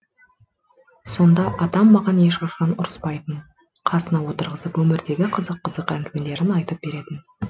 сонда атам маған ешқашан ұрыспайтын қасына отырғызып өмірдегі қызық қызық әңгімелерін айтып беретін